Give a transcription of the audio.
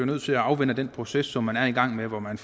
nødt til at afvente den proces som man er i gang med hvor man